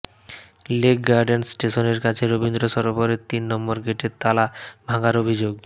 lake gardens স্টেশনের কাছে রবীন্দ্র সরোবরের তিন নম্বর গেটের তালা ভাঙার অভিযোগ